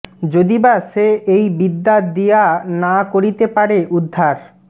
যদিবা সে এই বিদ্যা দিয়া না করিতে পারে উদ্ধার